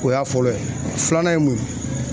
O y'a fɔlɔ ye filanan ye mun ye